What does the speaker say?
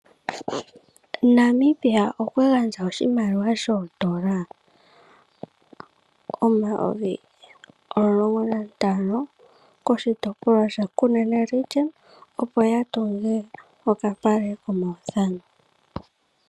Namibia okwa gandja oshimaliwa shoondola omayovi o15 koshitopolwa shaKunene, opo ya tunge okapale komaudhano.